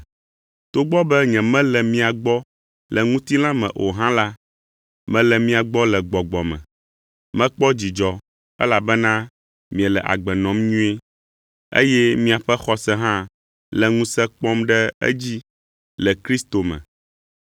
Togbɔ be nyemele mia gbɔ le ŋutilã me o hã la, mele mia gbɔ le gbɔgbɔ me. Mekpɔ dzidzɔ, elabena miele agbe nɔm nyuie, eye miaƒe xɔse hã le ŋusẽ kpɔm ɖe edzi le Kristo me.